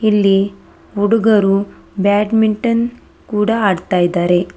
ಇಲ್ಲಿ ಹುಡುಗರು ಬ್ಯಾಡ್ಮಿಂಟನ್ ಕೂಡ ಆಡ್ತಾ ಇದ್ದಾರೆ.